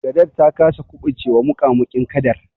Gadar ta kasa kuɓucewa muƙamuƙin kadar.